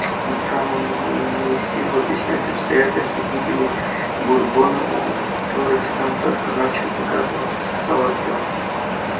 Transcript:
он сам умер не имея сил объяснять обстоятельства гибели бурбона о которых сам только начал догадываться сказал артём